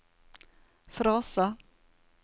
frase